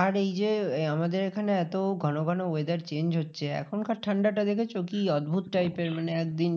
আর এই যে, আমাদের এখানে এত ঘন ঘন weather change হচ্ছে, এখনকার ঠান্ডাটা দেখেছো কি অদ্ভুদ? type এর মানে একদিন